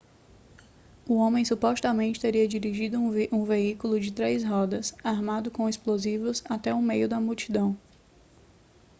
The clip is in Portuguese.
o homem supostamente teria dirigido um veículo de três rodas armado com explosivos até o meio da multidão